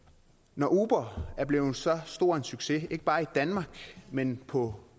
når uber er blevet så stor en succes ikke bare i danmark men på